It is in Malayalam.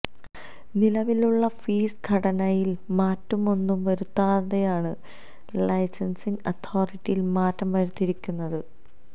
നിലവിലുള്ള ഫീസ് ഘടനയില് മാറ്റമൊന്നും വരുത്താതെയാണ് ലൈസന്സിങ് അതോറിറ്റിയില് മാറ്റം വരുത്തിയിരിക്കുന്നത്